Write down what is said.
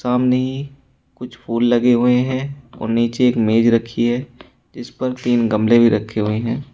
सामने ही कुछ फूल लगे हुए हैं और नीचे एक मेज रखी है जिस पर तीन गमले भी रखे हुए हैं।